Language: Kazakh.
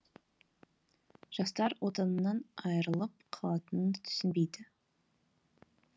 жастар отанынан айырылып қалатынын түсінбейді